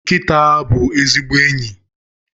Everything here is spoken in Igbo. Nkịta bụ ezigbo enyi